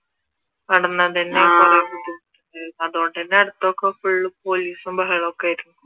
ആഹ് അതുകൊണ്ടുതന്നെ അടുത്തൊക്കെ full പോലീസും ബഹളം ഒക്കെ ആയിരുന്നു